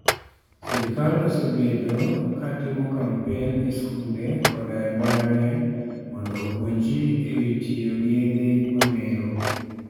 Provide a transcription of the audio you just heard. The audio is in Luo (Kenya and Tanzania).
Sirkal osebedo ka timo kampen e skunde koda e mbalariany mondo opuonj ji e wi tiyo gi yedhe mamero.